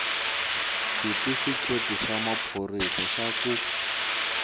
xitifiketi xa maphorisa xa ku